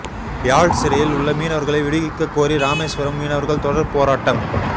யாழ் சிறையில் உள்ள மீனவர்களை விடுவிக்கக் கோரி ராமேஸ்வரம் மீனவர்கள் தொடர் போராட்டம்